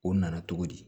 O nana cogo di